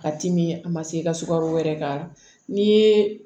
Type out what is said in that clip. Ka timi a ma se i ka sukaro wɛrɛ k'a la n'i ye